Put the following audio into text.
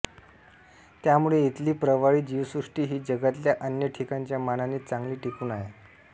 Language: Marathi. त्यामुळे इथली प्रवाळी जीवसृष्टी ही जगातल्या अन्य ठिकाणांच्या मानाने चांगली टिकून आहे